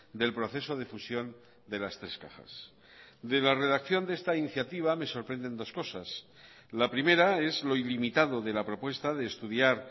del proceso de fusión de las tres cajas de la redacción de esta iniciativa me sorprenden dos cosas la primera es lo ilimitado de la propuesta de estudiar